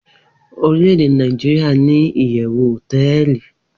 orilede nijiria ni iyewu hoteeli